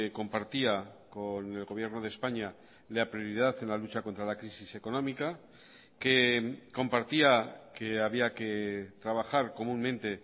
compartía con el gobierno de españa la prioridad en la lucha contra la crisis económica que compartía que había que trabajar comúnmente